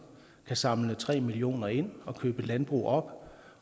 kan samle tre million kroner ind og købe landbrug op